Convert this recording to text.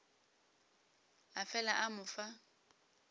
a fela a mo fa